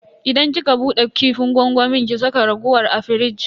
Idan kika bude kifin gwangwamin ki saka raguwar a firij.